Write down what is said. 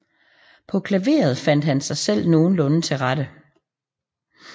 På klaveret fandt han sig selv nogenlunde til rette